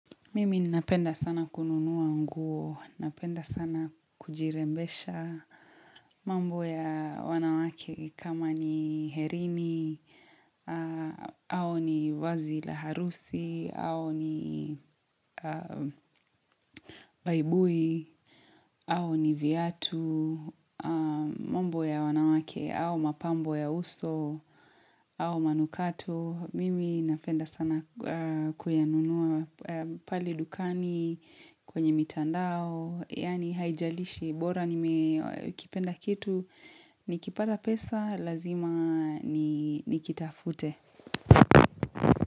Mimi ninapenda sana kununua nguo. Napenda sana kujirembesha mambo ya wanawake kama ni herini, au ni vazi la harusi, au ni buibui, au ni viatu, mambo ya wanawake, au mapambo ya uso, au manukato. Mimi napenda sana kuyanunua pale dukani, kwenye mitandao, yaani haijalishi bora nimekipenda kitu Nikipata pesa lazima nikitafute.